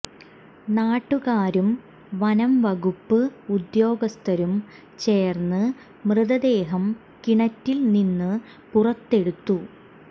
നാട്ടുകാരും വനം വകുപ്പ് ഉദ്യോഗസ്ഥരും ചേർന്ന് മൃതദേഹം കിണറ്റിൽ നിന്ന് പുറത്തെടുത്തു